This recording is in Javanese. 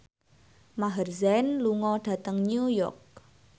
Maher Zein lunga dhateng New York